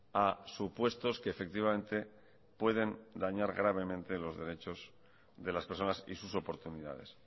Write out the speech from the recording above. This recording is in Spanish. a supuestos que efectivamente pueden dañar gravemente los derechos de las personas y sus oportunidades